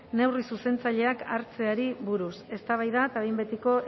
neurri zuzentzaileak hartzeari buruz eztabaida eta behin betiko